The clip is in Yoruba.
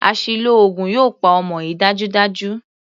Àṣìlò oògùn yóò pa ọmọ yìí dájúdájú.